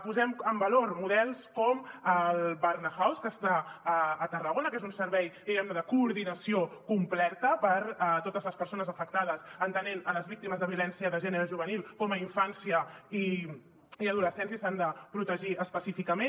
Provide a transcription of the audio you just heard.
posem en valor models com el barnahus que està a tarragona que és un servei diguem ne de coordinació completa per a totes les persones afectades entenent les víctimes de violència de gènere juvenil com a infància i adolescència i s’han de protegir específicament